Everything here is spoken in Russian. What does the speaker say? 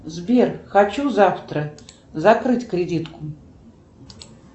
сбер хочу завтра закрыть кредитку